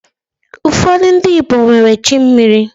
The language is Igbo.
Ụfọdị ndi Igbo nwere chi mmiri